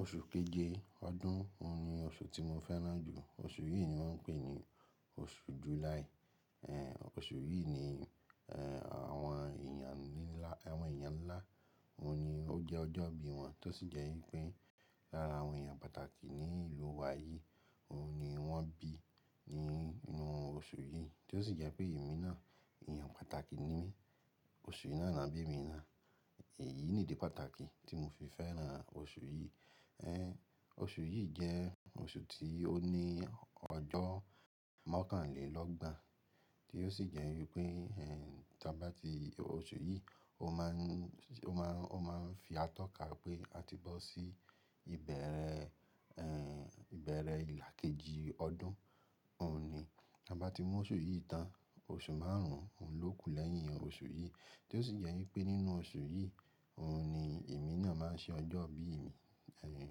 Oṣù keje ọdún òun ni oṣù tí mo fẹ́ràn jù. Oṣù yìí ni wọ́n ń pè ní oṣù July. Ehn, oṣù yìí ní, ehn, àwọn èèyàn ńlá, àwọn èèyàn ńlá, òun ni ó jẹ́ ọjọ́ bí wọn, tó sì jẹ́ wípé lára àwọn èèyàn pàtàkì ní ìlú wa yìí, òun ni wọ́n bí nínú oṣù yìí. Tó sì jẹ́ pé èmi náà èèyàn pàtàkì ni mí, oṣù yii náà ni won bi emi náà. Èyí nìdìí pàtàkì tí mo fi fẹ́ràn oṣù yìí. Ehn, oṣù yìí jẹ́ oṣù tí ó ní ọjọ́ mọ́kànlélọ́gbọ̀n, tí ó sì jẹ́ wípé, ehn, tí a bá ti oṣù yìí, ó má ń, ó má ń, ó má ń fi atọ́ka pé a ti bọ́ sí ìbẹ̀rẹ̀, ehn, ìbẹ̀rẹ̀ ìlà kejì ọdún òun ni. Tabá ti mú oṣù yìí tán, oṣù márùn ún ló kù lẹ́yìn oṣù yìí, tí ó sì jẹ́ wípé nínú oṣù yìí, òun ni èmi náà máa ń ṣe ọjọ́ bí mi, ehn,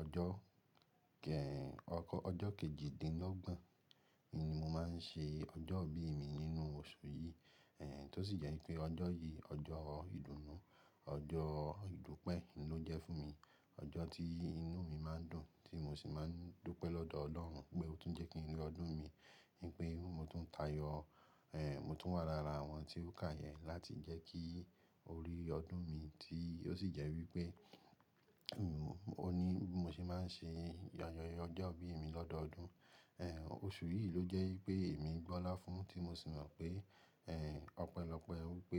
ọjọ́ kẹ-- ọkọ-- ọjọ́ kejìdínlọ́gbọ̀n ni mo máa ń ṣe ọjọ́ bí mi nínú oṣù yìí. Ehn, tó sì jẹ́ wípé ọjọ́ yìí, ọjọ́ ìdùnnú, ọjọ́ ìdúpẹ́ n ló jẹ́ fún mi. Ọjọ́ tí inú mi máa ń dùn tí mo sì máa ń dúpẹ́ lọ́dọ̀ Ọlọ́run pé ó tún jẹ́ kí ń rí ọdún mi, wípé mo tún tayọ. Ehn, mo tún wà lára àwọn tí ó kàyẹ́ láti jẹ́ kí orí ọdún mi ti-- ó sì jẹ́ wípé, òun, ó ní bí mo ṣe máa ń ṣe ayẹyẹ ọjọ́ bí mi lọ́dọọdún. Ehn, oṣù yìí ló jẹ́ wípé èmi gbọ́lá fún tí mo sì mọ̀ pé, ehn, ọpẹ́lọpẹ́ wípé.